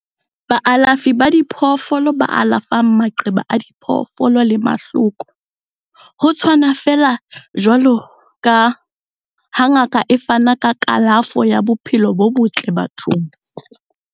Baalafi ba diphoofolo ba alafa maqeba a diphoofolo le mahloko, ho tshwana feela jwaloka ha ngaka e fana ka kalafo ya bophelo bo botle bathong.